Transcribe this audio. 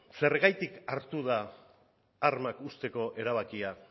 zergatik hartu da armak uzteko erabakia